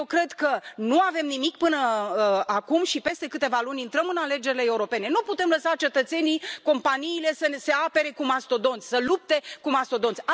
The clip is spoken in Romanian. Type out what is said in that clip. Eu cred că nu avem nimic până acum și peste câteva luni intrăm în alegerile europene. Nu putem lăsa cetățenii, companiile să se apere cu mastodonți, să lupte cu mastodonți.